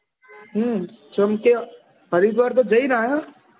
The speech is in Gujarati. હમમ કેમકે હરિદ્વાર તો જઈ ને આયા